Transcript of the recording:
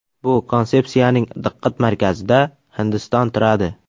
Bu konsepsiyaning diqqat markazida Hindiston turadi”.